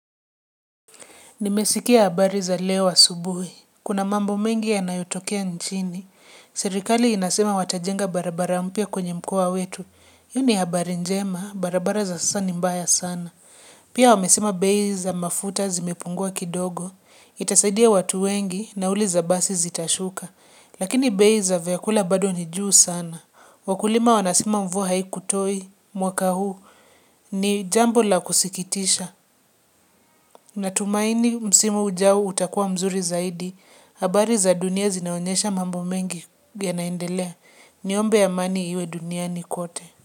Nimesikia habari za leo asubuhi. Kuna mambo mengi yanayotokea nchini. Serikali inasema watajenga barabara mpya kwenye mkoa wetu. Hii ni habari njema, barabara za sasa ni mbaya sana. Pia wamesema bei za mafuta zimepungua kidogo. Itasaidia watu wengi nauli za basi zitashuka. Lakini bei za vyakula bado ni juu sana. Wakulima wanasema mvua hai kutoi mwaka huu ni jambo la kusikitisha. Natumaini msimu ujao utakuwa mzuri zaidi, habari za dunia zinaonyesha mambo mengi ya naendelea, niombe amani iwe duniani kote.